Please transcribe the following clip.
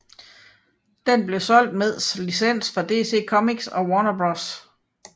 Det blev solgt meds licens fra DC Comics og Warner Bros